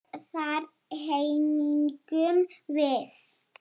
Og þar héngum við.